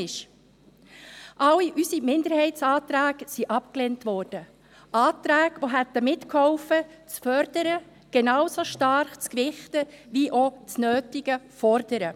Alle unsere Minderheitsanträge wurden abgelehnt – Anträge, welche mitgeholfen hätten, das Fördern genauso stark zu gewichten wie auch das nötige Fordern.